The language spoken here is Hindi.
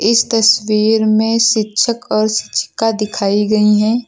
इस तस्वीर में शिक्षक और शिक्षिका दिखाई गई हैं।